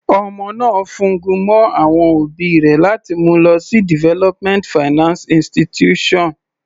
Ọmọ náà fún gun mọ́ àwọn òbí rẹ̀ láti mú u lọ sí development finance institution.